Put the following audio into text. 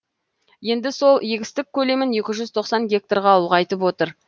енді сол егістік көлемін екі жүз тоқсан гектарға ұлғайтып отыр